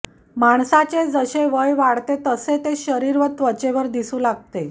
माणसाचे जसे वय वाढते तसे ते शरीर व त्वचेवर दिसू लागते